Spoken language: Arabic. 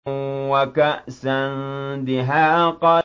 وَكَأْسًا دِهَاقًا